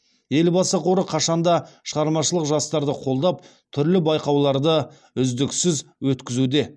елбасы қоры қашанда шығармашыл жастарды қолдап түрлі байқауларды үздіксіз өткізуде